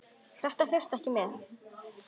LÁRUS: Þess þurfti ekki með.